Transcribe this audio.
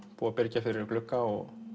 búið að byrgja fyrir glugga og